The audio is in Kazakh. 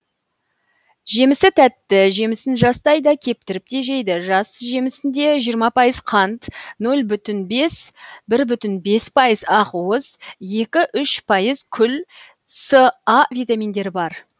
жемісі тәтті жемісін жастай да кептіріп те жейді жас жемісінде жиырма пайыз қант нөл бүтін бес бір бүтін бес пайыз ақуыз екі үш пайыз күл с а витаминдері бар